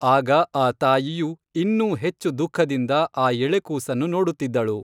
ಆಗ ಆ ತಾಯಿಯು ಇನ್ನೂ ಹೆಚ್ಚು ದುಃಖದಿಂದ ಆ ಎಳೆ ಕೂಸನ್ನು ನೋಡುತ್ತಿದ್ದಳು.